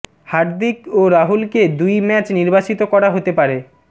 হার্দিক ও রাহুলকে দুই ম্যাচ নির্বাসিত করা হতে পারে